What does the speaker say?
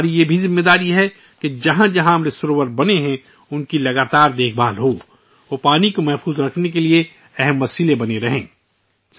اب یہ ہماری ذمہ داری بھی بنتی ہے کہ جہاں جہاں امرت سروور بنائے گئے ہیں، ان کی باقاعدگی سے دیکھ بھال کی جائے تاکہ وہ پانی کے تحفظ کا اہم ذریعہ بنے رہیں